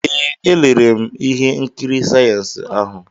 Ee, elere m ihe nkiri sayensị ahụ.